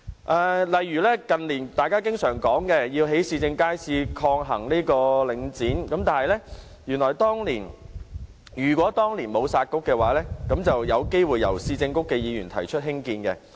舉例來說，近年大家常說要興建市政街市，抗衡領展，如果當年沒有"殺局"的話，原來是有機會由市政局的議員提出興建建議。